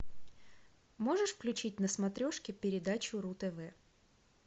можешь включить на смотрешке передачу ру тв